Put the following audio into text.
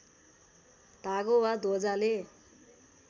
धागो वा ध्वजाले